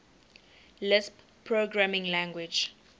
lisp programming language